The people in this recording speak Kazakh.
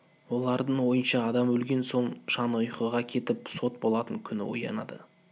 олардың ойынша адам өлген соң жаны ұйқыға кетіп сот болатын күні оянады